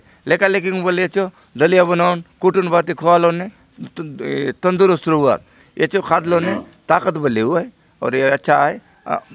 लेका - लेकि के बले एचो दलिया बनाउन कुटुन भांति खुआओ ने ए तंदरुस्त रहुआत ए चो खादलो ने ताकत बले एवाय अउर ये अच्छा आय अ --